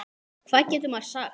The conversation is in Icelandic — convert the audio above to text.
Hvað getur maður sagt?